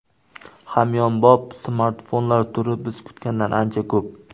Hamyonbop smartfonlar turi biz kutgandan ancha ko‘p.